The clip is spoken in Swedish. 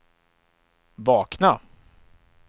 vakna